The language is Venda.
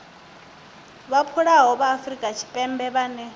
vhadzulapo vha afrika tshipembe vhane